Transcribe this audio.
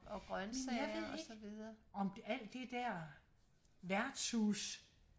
jeg ved ikke om alt det der værtshus